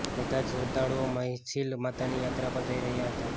બધા જ શ્રદ્ધાળુઓ માછિલ માતાની યાત્રા પર જઇ રહ્યા હતા